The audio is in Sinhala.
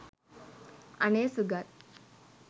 අනේ සුගත්